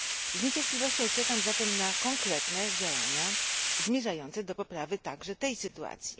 Z niecierpliwością czekam zatem na konkretne działania zmierzające do poprawy także tej sytuacji.